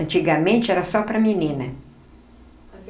Antigamente era só para menina.